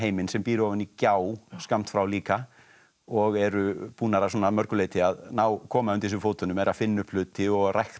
sem býr ofan í gjá skammt frá líka og eru búnar að mörgu leyti að koma undir sig fótunum eru að finna upp hluti og að rækta